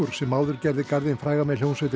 sem áður gerði garðinn frægan með hljómsveitinni